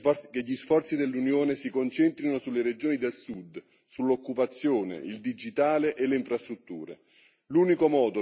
È necessario che gli sforzi dell'Unione si concentrino sulle regioni del Sud, sull'occupazione, sul digitale e sulle infrastrutture.